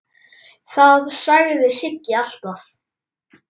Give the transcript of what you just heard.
Það sagði Siggi alltaf.